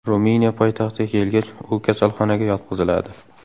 Ruminiya poytaxtiga kelgach, u kasalxonaga yotqiziladi.